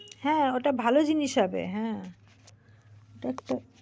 হ্যাঁ ওটা ভালো জিনিস হবে। হ্যাঁ। ওটা একটা।